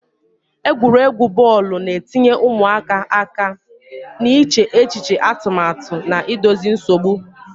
Egwuregwu bọọlụ na-etinye ụmụaka aka n'iche echiche atụmatụ na idozi nsogbu,